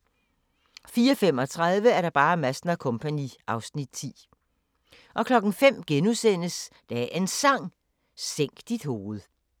04:35: Madsen & Co. (Afs. 10) 05:00: Dagens Sang: Sænk dit hoved *